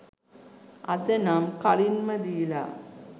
අද නම් කලින්ම දිලා